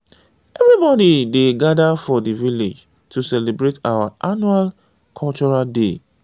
everybody dey gada for di village to celebrate our annual cultural day.